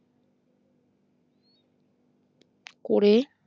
করে